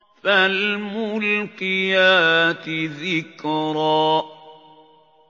فَالْمُلْقِيَاتِ ذِكْرًا